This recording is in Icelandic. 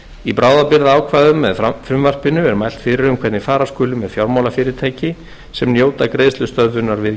í bráðabirgðaákvæðum með frumvarpinu er mælt fyrir um hvernig fara skuli með fjármálafyrirtæki sem njóta greiðslustöðvunar við